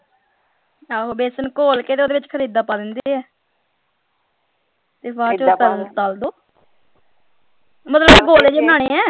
ਆਹੋ ਬੇਸਨ ਘੋਲ ਕੇ ਤੇ ਓਹਦੇ ਵਿੱਚ ਪਾ ਦਿੰਦੇ ਹੈ ਤੇ ਬਾਅਦ ਚੋਂ ਤਲ ਦੋ ਮਤਲਬ ਗੋਲੇ ਜੇ ਬਨਾਨੇ ਹੈ।